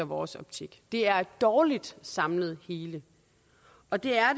vores optik det er et dårligt samlet hele og det er